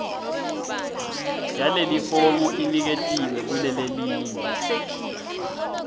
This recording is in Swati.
yalelifomu iniketiwe kulelelinye